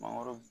Mangoro